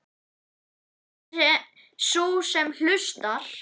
Sú sem hlustar.